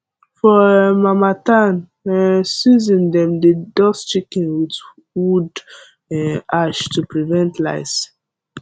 for um harmattan um season dem dey dust chicken with wood um ash to prevent lice